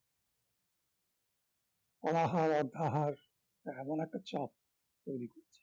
অনাহার অর্থাহার এমন একটা চাপ তৈরি করেছে